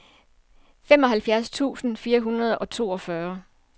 femoghalvfjerds tusind fire hundrede og toogfyrre